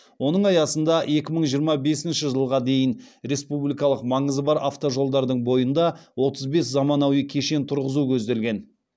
оның аясында екі мың жиырма бесінші жылға дейін республикалық маңызы бар автожолдардың бойында отыз бес заманауи кешен тұрғызу көзделген